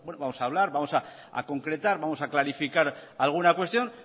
vamos a hablar vamos a concretar vamos a clarificar alguna cuestión